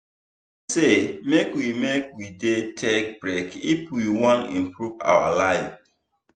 dem say make we make we dey take break if we wan improve our life.